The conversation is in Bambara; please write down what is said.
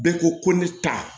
Bɛɛ ko ko ne ta